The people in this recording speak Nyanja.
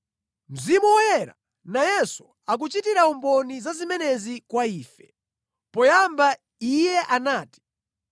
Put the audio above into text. Mzimu Woyera nayenso akuchitira umboni za zimenezi kwa ife. Poyamba Iye anati,